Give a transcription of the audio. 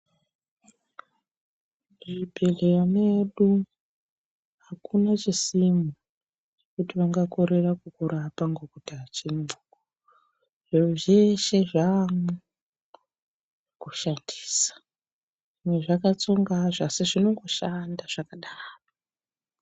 Muzvibhedhleya medu hakuna chisimo kuti vangakorera kukurapa ngokuti hachimwo. Zviro zveshe zvamwo kushandisa zvimwe zvakatsonga hazvo asi zvinongoshanda zvakadaro.